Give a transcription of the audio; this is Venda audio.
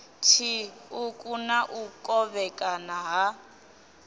tshiṱuku na u kovhekana ha